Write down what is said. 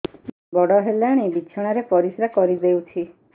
ବଡ଼ ହେଲାଣି ବିଛଣା ରେ ପରିସ୍ରା କରିଦେଉଛି